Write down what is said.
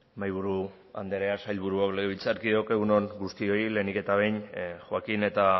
mahaiburu andrea sailburuok legebiltzarkideok egun on guztioi lehenik eta behin joaquin eta